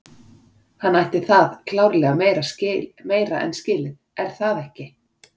Hann ætti það klárlega meira en skilið er það ekki?